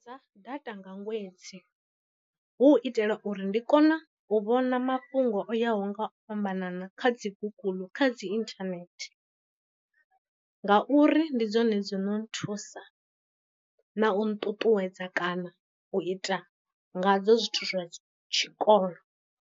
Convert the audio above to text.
Ḓadza data nga ṅwedzi, hu itela uri ndi kona u vhona mafhungo o yaho nga u fhambanana kha dzi guguḽu kha dzi inthanethe, nga uri ndi dzone dzo no nthusa na u nṱuṱuwedza kana u ita nga dzo zwithu zwa tshikolo.